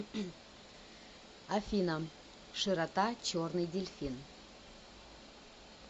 афина широта черный дельфин